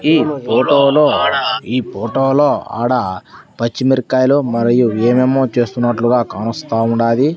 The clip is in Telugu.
ఈ పోటో లో ఈ పోటో లో ఆడా పచ్చి మీరకాయలు మరియు ఏమేమో చేస్తునట్లుగా కానొస్తా ఉండాది.